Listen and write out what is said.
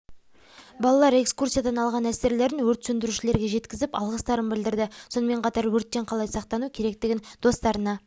балалар экскурсиядан алған әсерлерін өрт сөндірушілерге жеткізіп алғыстарын білдірді сонымен қатар өрттен қалай сақтану керекігін достарына